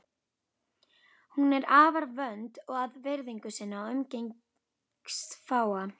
Hún er afar vönd að virðingu sinni og umgengst fáa.